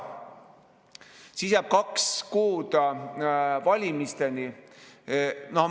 Siis jääb kaks kuud valimisteni.